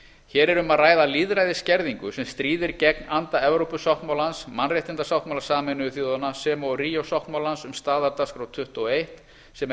hér er um að ræða lýðræðisskerðingu sem stríðir gegn anda evrópusáttmálans mannréttindasáttmála sameinuðu þjóðanna sem og ríó sáttmálans um staðardagskrá tuttugu og eitt sem er